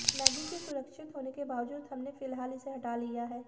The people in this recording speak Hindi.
मैगी के सुरक्षित होने के बावजूद हमने फिलहाल इसे हटा लिया है